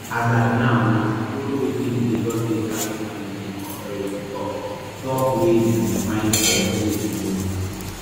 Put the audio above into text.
as at now na to follow wetin di lagos state traffic management authority tok tok wey be to find alternative routes